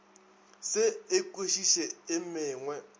se e kwešiše e mengwe